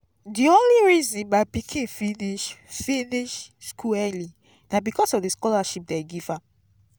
the only reason my pikin finish finish school early na because of the scholarship dey give am